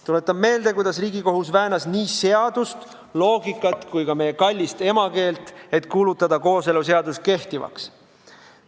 Tuletan meelde, kuidas Riigikohus väänas seadust, loogikat ja ka meie kallist emakeelt, et kuulutada kooseluseadus kehtivaks.